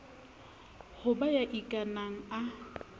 ho ba ya ikanang a